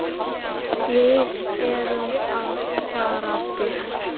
Við erum að fara burt.